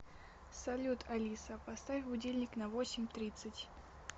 салют алиса поставь будильник на восемь тридцать